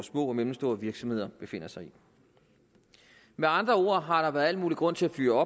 små og mellemstore virksomheder befinder sig i med andre ord har der været al mulig grund til at fyre